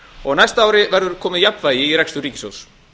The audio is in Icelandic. og á næsta ári verður komið jafnvægi í rekstur ríkissjóðs